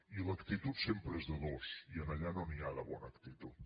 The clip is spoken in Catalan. i l’actitud sempre és de dos i allà no n’hi ha de bona actitud